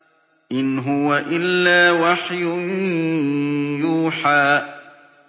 إِنْ هُوَ إِلَّا وَحْيٌ يُوحَىٰ